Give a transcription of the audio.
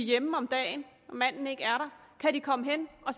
hjemme om dagen og manden ikke er der kan komme hen og